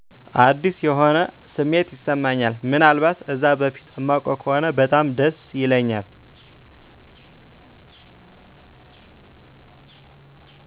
አዲስ የሆነ ስሜት ይስማኛል ምን አልባት እዛ በፊት እማውቀው ከሆነ በጣም ደስ ይለኛል።